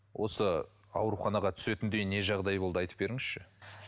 осы ауруханаға түсетіндей не жағдай болды айтып беріңізші